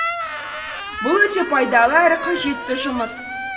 бұл өте пайдалы әрі қажетті жұмыс